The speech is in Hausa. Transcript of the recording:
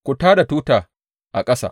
Ku tā da tuta a ƙasa!